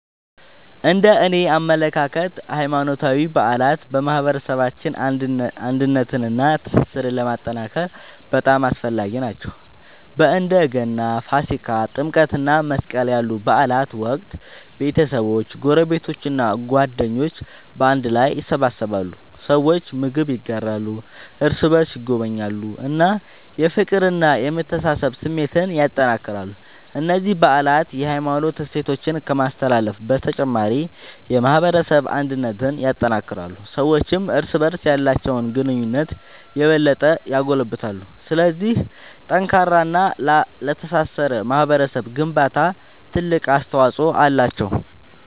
እነደኔ አመለካከት ሃይማኖታዊ በዓላት በማህበረሰባችን አንድነትንና ትስስርን ለማጠናከር በጣም አስፈላጊ ናቸው። በእንደ ገና፣ ፋሲካ፣ ጥምቀት እና መስቀል ያሉ በዓላት ወቅት ቤተሰቦች፣ ጎረቤቶች እና ጓደኞች በአንድ ላይ ይሰበሰባሉ። ሰዎች ምግብ ይጋራሉ፣ እርስ በርስ ይጎበኛሉ እና የፍቅርና የመተሳሰብ ስሜትን ያጠናክራሉ። እነዚህ በዓላት የሃይማኖት እሴቶችን ከማስተላለፍ በተጨማሪ የማህበረሰብ አንድነትን ያጠናክራሉ። ሰዎችም እርስ በርስ ያላቸውን ግንኙነት የበለጠ ያጎለብታሉ። ስለዚህ ለጠንካራና ለተሳሰረ ማህበረሰብ ግንባታ ትልቅ አስተዋጽኦ አላቸው።